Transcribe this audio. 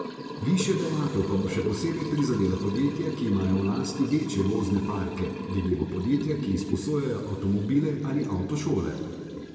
Višja dajatev pa bo še posebej prizadela podjetja, ki imajo v lasti večje vozne parke, denimo podjetja, ki izposojajo avtomobile, ali avtošole.